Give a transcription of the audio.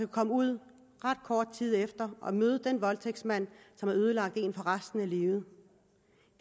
komme ud ret kort tid efter og møde den voldtægtsmand som har ødelagt hende for resten af livet